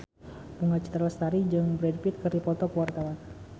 Bunga Citra Lestari jeung Brad Pitt keur dipoto ku wartawan